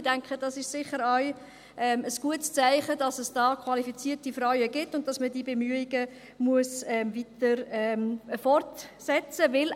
Ich denke, dies ist sicher auch ein gutes Zeichen dafür, dass es hier qualifizierte Frauen gibt und man diese Bemühungen weiter fortsetzen muss.